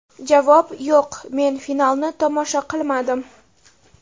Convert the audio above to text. Javob: Yo‘q, men finalni tomosha qilmadim.